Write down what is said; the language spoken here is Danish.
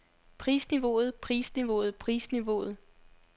prisniveauet prisniveauet prisniveauet